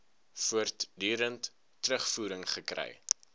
voortdurend terugvoering gekry